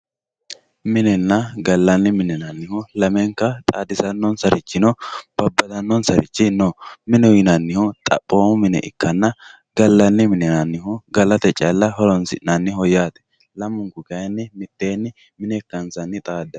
minenna gallanni mine yinannihu lamenka xaadisannossarichino babbadannonssarichi no mineho yinannihu xaphoomu mine ikkanna gallaanni mine yinannihu galate calla horoonsi'nanniho yaate lamunku kayiinni mitteenni mine ikkansanni xaadanno.